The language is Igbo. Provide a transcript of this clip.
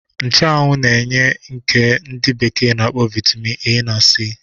Nchuanwu na-enye nke ndi bekee na-akpọ Vaitamin A na C.